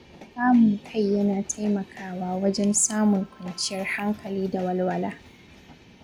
Kamun kai yana taimakawa wajen samun kwanciyar hankali da walwala.